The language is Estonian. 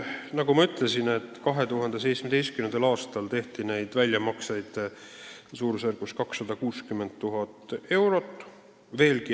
Nagu ma ütlesin, 2017. aastal tehti väljamakseid suurusjärgus 260 000 eurot.